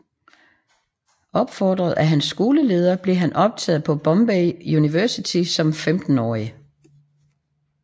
Opfordret af hans skoleleder blev han optaget på Bombay Universitet som femtenårig